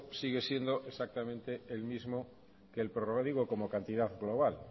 sigue siendo exactamente el mismo que el digo como cantidad global